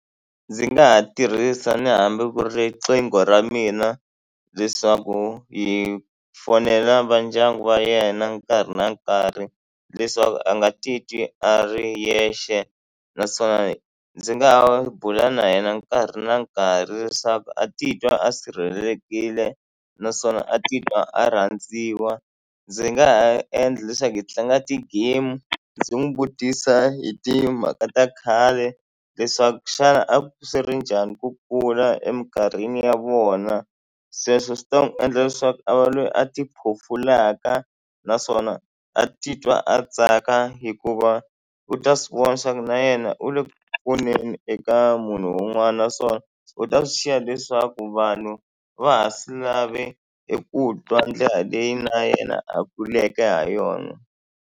Ndzi nga ha tirhisa ni hambi ku ri riqingho ra mina leswaku hi fonela va ndyangu wa yena nkarhi na nkarhi leswaku a nga titwi a ri yexe naswona ndzi nga ha bula na yena nkarhi na nkarhi leswaku a titwa a sirhelelekile naswona a titwa a rhandziwa. Ndzi nga ha endla leswaku hi tlanga ti-game ndzi n'wi vutisa hi timhaka ta khale leswaku xana a swi ri njhani ku kula emikarhini ya vona sweswo swi ta n'wi endla leswaku a va lweyi a tiphofulaka naswona a titwa a tsaka hikuva u ta swi vona leswaku na yena u le ku pfuneni eka munhu un'wana naswona u ta swi xiya leswaku vanhu va ha swi lave eku twa ndlela leyi na yena a kuleke ha yona.